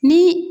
Ni